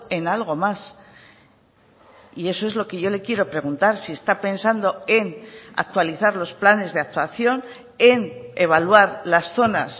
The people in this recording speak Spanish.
en algo más y eso es lo que yo le quiero preguntar si está pensando en actualizar los planes de actuación en evaluar las zonas